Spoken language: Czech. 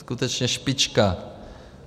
Skutečně špička.